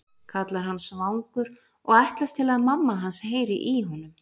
kallar hann svangur og ætlast til að mamma hans heyri í honum.